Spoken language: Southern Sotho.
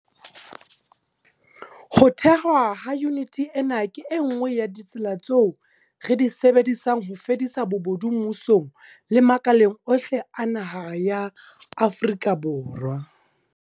Ho thehwa ha yuniti ena ke e nngwe ya ditsela tseo re di sebedisang ho fedisa bobodu mmusong le makaleng ohle a naha ya Afrika Borwa.